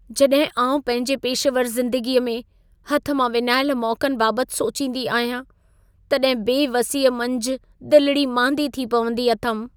जॾहिं आउं पंहिंजे पेशेवर ज़िंदगीअ में, हथ मां विञायल मौक़नि बाबत सोचींदी आहियां, तॾहिं बेवसीअ मंझि दिलिड़ी मांदी थी पवंदी अथमि।